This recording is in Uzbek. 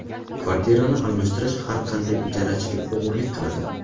Kvartirani almashtirish har qanday ijarachiga og‘irlik qiladi.